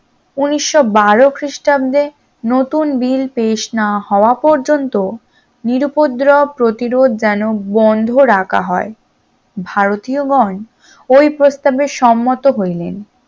উনিশশ বারো খ্রিস্টাব্দে নতুন bill পেশ না হওয়া পর্যন্ত নিরুউপদ্রব প্রতিরোধ যেন বন্ধ রাখা হয় ভারতীয় গণ ওই প্রস্তাবে সম্মত হইলেন